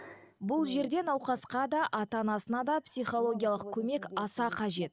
бұл жерде науқасқа да ата анасына да психологиялық көмек аса қажет